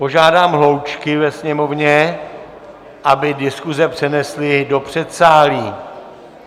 Požádám hloučky ve sněmovně, aby diskuze přenesly do předsálí.